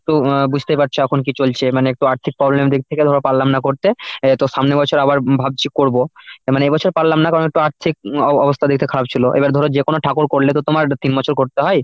বুঝতেই পারছ এখন কি চলছে? মানে একটু আর্থিক problem এর দিক থেকে পারলাম না করতে তো সামনের বছর আবার ভাবছি করব মানে এ বছর পারলাম না কারণ একটু আর্থিক অব~ অবস্থা একটু খারাপ ছিল। এবার ধরো যে কোন ঠাকুর করলে তো তোমার তিন বছর করতে হয়,